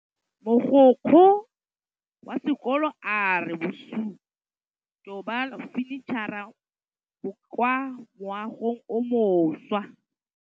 Mogokgo wa sekolo a re bosutô ba fanitšhara bo kwa moagong o mošwa.